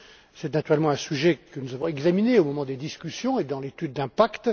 C'est naturellement un sujet que nous avons examiné au moment des discussions et dans l'étude d'impact.